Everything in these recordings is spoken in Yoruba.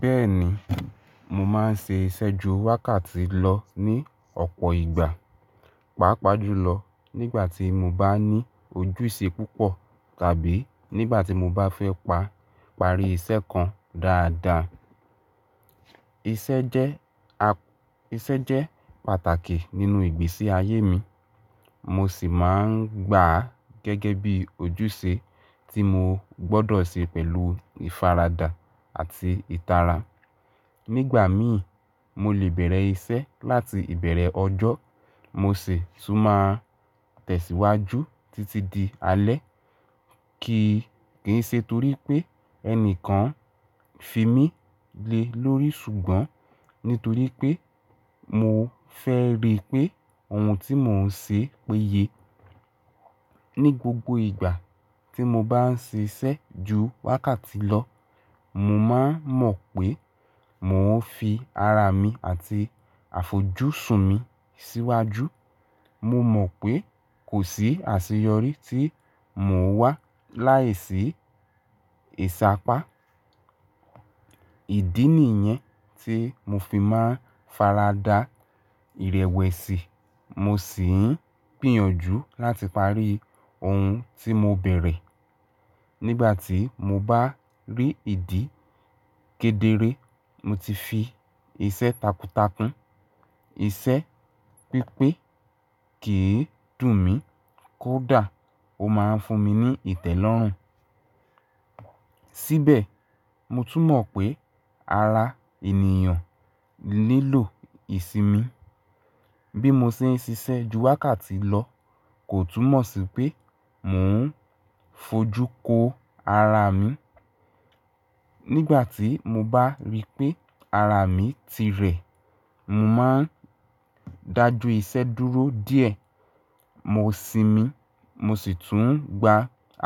Bẹ́ẹ̀ni, mo máa ń ṣe iṣẹ́ ju wákàtí lọ ní ọ̀pọ̀ ìgbà, pàápàá jùlọ nígbà tí mo bá ní ojúṣe púpọ̀ tàbí nígbà tí mo bá fẹ́ pa parí iṣẹ́ kan dáadáa. Iṣẹ́ jẹ́ a-- iṣẹ́ jẹ́ pàtàkì nínú ìgbésí ayé mi, mo sì máa ń gbà á gẹ́gẹ́ bí ojúṣe tí mo gbọ́dọ̀ ṣe pẹ̀lú ìfaradà àti ìtara. Nígbà mii, mo lè bẹ̀rẹ̀ iṣẹ́ láti ìbẹ̀rẹ̀ ọjọ́, mo sì tún máa tẹ̀síwájú títí di alẹ́. Kìí ṣe torí pé ẹnìkan fi mí le lórí, ṣùgbọ́n nítorí pé mo fẹ́ rí pé ohun tí mò ń ṣe péye. Ni gbogbo ìgbà tí mo bá ń ṣe iṣẹ́ ju wákàtí lọ, mo máa mọ̀ pé mò ń fi ara mi àti àfojúsùn mi síwájú. Mo mọ̀ pé kò sí àṣeyọrí tí mò ń wá láìsí ìṣàpá. Ìdí nìyẹn tí mo fi máa ń faradà ìrẹ̀wẹ̀sì, mo sì ń gbìyànjú láti parí ohun tí mo bẹ̀rẹ̀. Nígbà tí mo bá rí ìdí kedere, mo ti fi iṣẹ́ takuntakun. Iṣẹ́ pípé kì í dùn mí, kódà ó máa ń fún mi ní ìtẹ́lọ́rùn. Síbẹ̀, mo tún mọ̀ pé ara ènìyàn nilo ìsinmi. Bí mo ṣe ń ṣiṣẹ́ ju wákàtí lọ, kò túmọ̀ sí pé mò ń fojú ko ara mi. Nígbà tí mo bá rí pé ara mi ti rẹ̀, mo máa ń dájú iṣẹ́ dúró díẹ̀, mo sinmi mo sì tún ń gba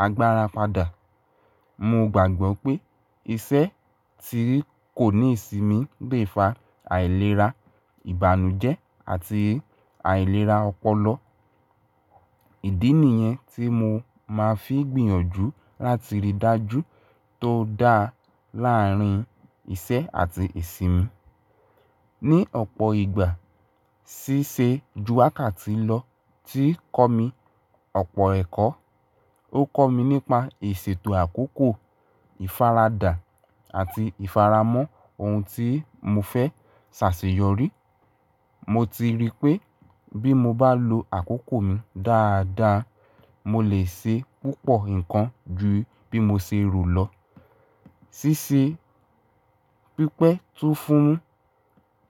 agbára padà. Mo gbàgbọ́ pé iṣẹ́ tí kò ní ìsinmi gbé fa àìlera ìbànújẹ́ àti àìlera ọpọlọ. Ìdí nìyẹn tí mo máa ń fi gbìyànjú láti rí dájú tó dá láàárín iṣẹ́ àti ìsinmi. Ni ọ̀pọ̀ ìgbà, ṣíṣe ju wákàtí lọ ti kọ́ mi ọ̀pọ̀ ẹ̀kọ́. Ó kọ́ mi nípa ìṣètò àkókò, ìfaradà àti ìfaramọ́ ohun tí mo fẹ́ ṣàṣeyọrí. Mo ti rí pé bí mo bá lo àkókò mi dáadáa, mo lè ṣe púpọ̀ nǹkan ju bí mo ṣe rò lọ. Ṣíṣe pípé tún fún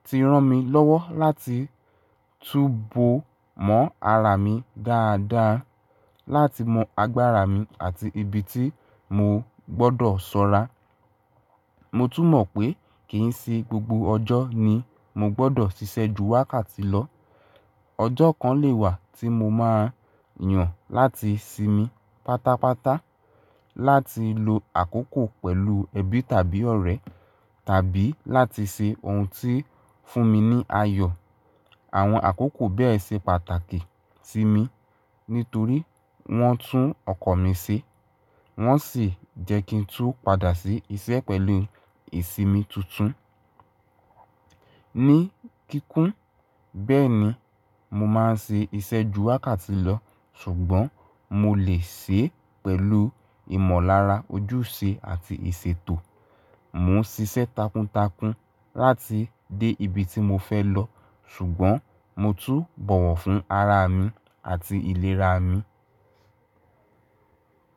ti rán mi lọ́wọ́ láti túbo mọ́ ara mi dáadáa, láti mọ agbára mi àti ibi tí mo gbọ́dọ̀ sọ́ra. Mo tún mọ̀ pé kì í ṣe gbogbo ọjọ́ ni mo gbọ́dọ̀ ṣiṣẹ́ ju wákàtí lọ. Ọjọ́ kan lè wá tí mo máa yàn láti sinmi pátápátá, láti lo àkókò pẹ̀lú ẹbí tàbí ọ̀rẹ́, tàbí láti ṣe ohun tí ń fún mi ní ayọ̀. Àwọn àkókò bẹ́ẹ̀ ṣe pàtàkì sí mi nítorí wọ́n tún ọkọ̀ mi ṣe, wọ́n sì jẹ́ kí n tú padà sí iṣẹ́ pẹ̀lú ìsinmi tuntun. Ni kíkún, bẹ́ẹ̀ni mo máa ń ṣe iṣẹ́ ju wákàtí lọ, ṣùgbọ́n mo lè ṣe é pẹ̀lú ìmọ̀lára ojúṣe àti ìṣètò. Mo ń ṣiṣẹ́ takuntakun láti dé ibi tí mo fẹ́ lọ ṣùgbọ́n mo tún bọ̀wọ̀ fún ara mi àti ìlera mi.